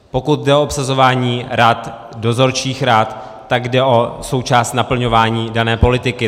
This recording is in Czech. Pokud jde o obsazování rad, dozorčích rad, tak jde o součást naplňování dané politiky.